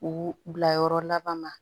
U bila yɔrɔ laban ma